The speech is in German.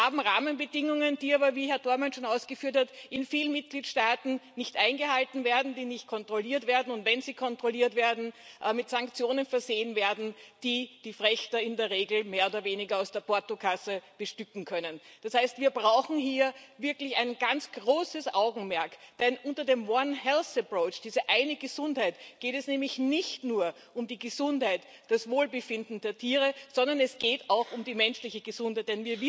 Wir haben Rahmenbedingungen, die aber wie Herr Dohrmann schon ausgeführt hat in vielen Mitgliedstaaten nicht eingehalten werden, die nicht kontrolliert werden und wenn sie kontrolliert werden, mit Sanktionen versehen werden, die die Frächter in der Regel mehr oder weniger aus der Portokasse bestücken können. Das heißt Wir brauchen hier wirklich ein ganz großes Augenmerk, denn unter dem one health approach diese eine Gesundheit geht es nämlich nicht nur um die Gesundheit und das Wohlbefinden der Tiere, sondern es geht auch um die menschliche Gesundheit.